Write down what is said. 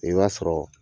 I b'a sɔrɔ